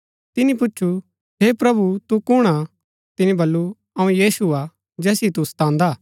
तिनी पुछु हे प्रभु तू कुणआ तिनी बल्लू अऊँ यीशु हा जैसिओ तू सतांदा